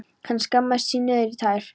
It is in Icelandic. Hann skammaðist sín niður í tær.